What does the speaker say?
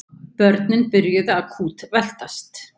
Börnin byrjuðu að kútveltast.